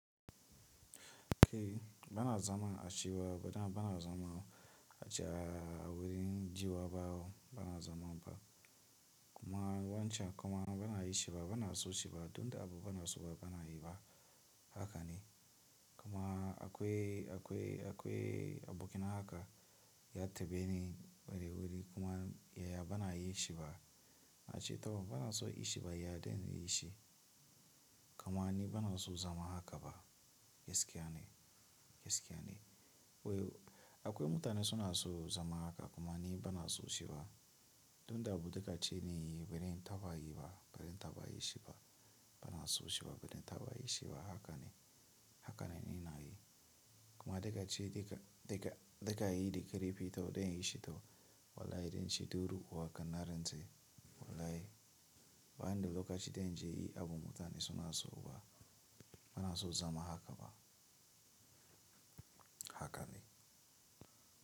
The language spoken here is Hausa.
Ke bana zama a shiwa bana bana zama a a wurin jiwa bawo bana zama ba kuma wancan kuma bana yi shi ba bana so shi ba don da abu bana so ba bana yi ba haka ne kuma akwai akwai akwai abokina haka ya taɓe ni wuri wuri kuma ya ya bana yi shi ba na ce ta bana so yi shi ba ya dai yi shi kamani bana so zama haka ba gaskiya ne gaskiya ne. Wei akwai mutane suna so zama haka kuma ni bana so shi ba don da abu daga ce ne bazan taba yi ba bazan taba yi shi ba bana so shi ba bazan taba yi shi ba haka ne haka na nina yi kuma daga ce daga daga daga yi da karefi to don ya yi shi to wallahi don shi durin uwarka na rantse ce wallahi bayan da lokaci dai na je yi abu mutane suna so ba bana so zama haka ba haka ne.